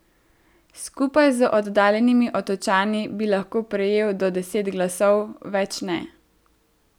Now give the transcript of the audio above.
Skupaj z oddaljenimi Otočani bi lahko prejel do deset glasov, več ne.